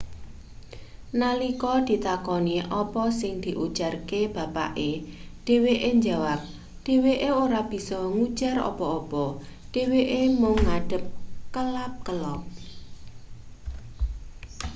nalika ditakoni apa sing diujarke bapake dheweke njawap dheweke ora bisa ngujar apa-apa dheweke mung ngadeg kelap-kelop